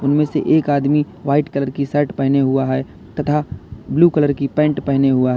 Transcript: इनमें से एक आदमी व्हाइट कलर की शर्ट पेहना हुआ है तथा ब्लू कलर की पेंट पहना हुआ।